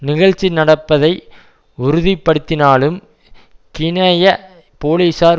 நிகழ்ச்சி நடப்பதை உறுதிப்படுத்தினாலும் கினய போலீசார்